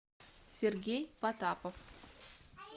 сергей потапов